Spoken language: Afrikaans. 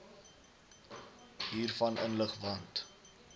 hiervan inlig want